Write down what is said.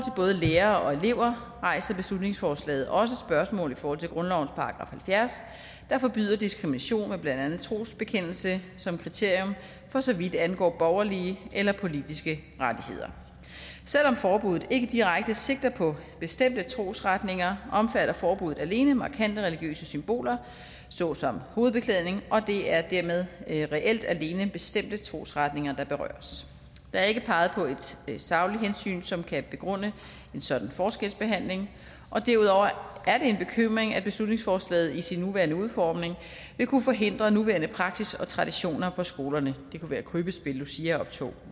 lærere og elever rejser beslutningsforslaget også spørgsmål i forhold til grundlovens § halvfjerds der forbyder diskrimination med blandt andet trosbekendelse som kriterium for så vidt angår borgerlige eller politiske rettigheder selv om forbuddet ikke direkte sigter på bestemte trosretninger omfatter forbuddet alene markante religiøse symboler såsom hovedbeklædning og det er dermed reelt alene bestemte trosretninger der berøres der er ikke peget på et sagligt hensyn som kan begrunde en sådan forskelsbehandling og derudover er det en bekymring at beslutningsforslaget i sin nuværende udformning vil kunne forhindre nuværende praksis og traditioner på skolerne det kunne være krybbespil luciaoptog